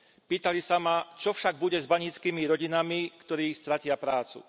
Pýtali sa ma, čo však bude s baníckymi rodinami, ktoré stratia prácu.